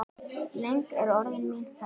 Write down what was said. Löng er orðin mín ferð.